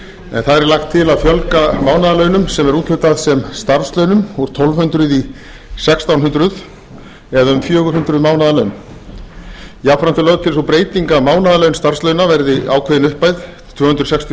þar er lagt til að fjölga mánaðarlaunum sem er úthlutað sem starfslaunum úr tólf hundruð í sextán hundruð eða um fjögur hundruð mánaðarlaun þá er og lögð til sú breyting að mánaðarlaun starfslauna verði ákveðin upphæð tvö hundruð sextíu og